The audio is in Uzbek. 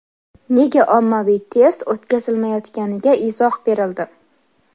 Nega ommaviy test o‘tkazilmayotganiga izoh berildi.